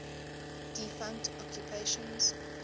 defunct occupations